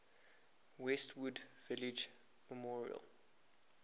westwood village memorial